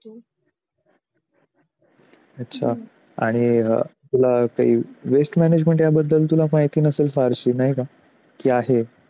अच्छा आणि अं तुला काही waste management याबद्दल तुला माहिती नसेल फारशी नाही का की आहे?